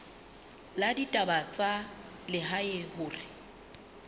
la ditaba tsa lehae hore